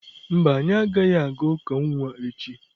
Mba, anyị agaghị aga uka nwa echi.